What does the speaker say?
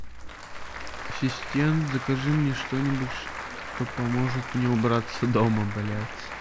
ассистент закажи мне что нибудь что поможет мне убраться дома блять